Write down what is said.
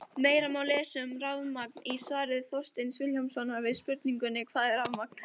Meira má lesa um rafmagn í svari Þorsteins Vilhjálmssonar við spurningunni Hvað er rafmagn?